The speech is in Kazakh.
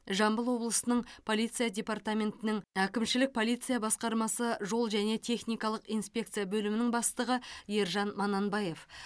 жамбыл облысының полиция департаментінің әкімшілік полиция басқармасы жол және техникалық инспекция бөлімінің бастығы ержан мананбаев